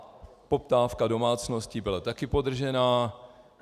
A poptávka domácností byla také podržená.